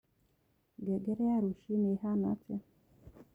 ngengere ya rũcĩũĩhana atia